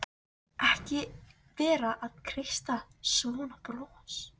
Ekki vera að kreista fram svona bros!